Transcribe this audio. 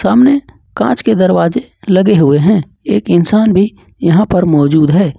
अमने कांच के दरवाजे लगे हुए हैं एक इंसान भी यहां पर मौजूद है।